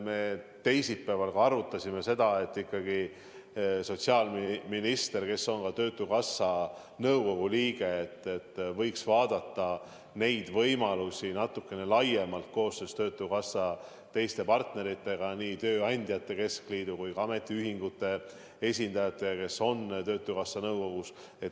Me teisipäeval ka arutasime seda ja leidsime, et sotsiaalminister, kes on töötukassa nõukogu liige, võiks arutada neid võimalusi natukene laiemalt koostöös töötukassa teiste partneritega, nii tööandjate keskliidu kui ka ametiühingute esindajatega, kes on töötukassa nõukogus.